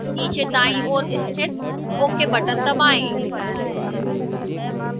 नीचे दाईं ओर स्थित ok button दबाएं